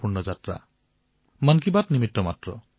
মন কী বাতটো কেৱল এক নিমিত্তহে মাথো